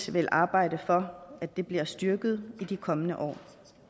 vil arbejde for bliver styrket i de kommende år